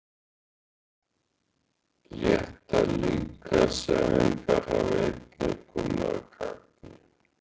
léttar líkamsæfingar hafa einnig komið að gagni